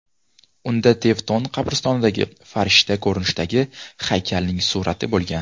Unda Tevton qabristonidagi farishta ko‘rinishidagi haykalning surati bo‘lgan.